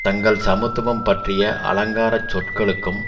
தங்கள் சமத்துவம் பற்றிய அலங்கார சொற்களுக்கும்